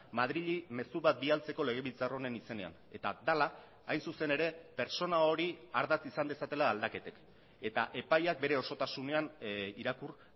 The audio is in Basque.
madrili mezu bat bidaltzeko legebiltzar honen izenean eta dela hain zuzen ere pertsona hori ardatz izan dezatela aldaketek eta epaiak bere osotasunean irakur